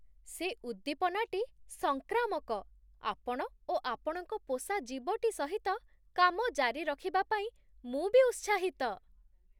ସେ ଉଦ୍ଦୀପନାଟି ସଂକ୍ରାମକ! ଆପଣ ଓ ଆପଣଙ୍କ ପୋଷା ଜୀବଟି ସହିତ କାମ ଜାରିରଖିବା ପାଇଁ ମୁଁ ବି ଉତ୍ସାହିତ!